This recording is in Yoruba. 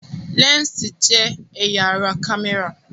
Lẹ́ǹsì jẹ́ ẹ̀yà ara kámẹ́rà